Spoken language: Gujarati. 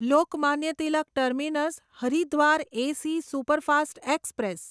Lokmanya Tilak terminus Haridwar AC superfast express